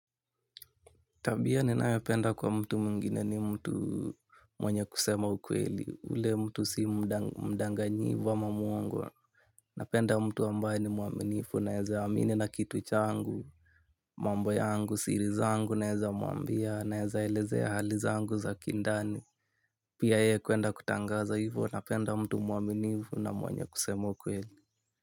Tabia ninayopenda kwa mtu mwingine ni mtu mwenye kusema ukweli, ule mtu sii mdanganyifu ama muongo. Napenda mtu ambaye ni mwaaminifu naeza amini na kitu changu. Mambo yangu siri zangu naeza muambia naeza elezea hali zangu za kindani. Pia ye kuenda kutangaza hivo napenda mtu mwaminifu na mwenye kusema ukweli.